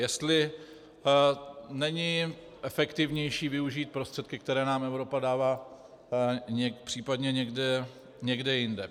Jestli není efektivnější využít prostředky, které nám Evropa dává, případně někde jinde.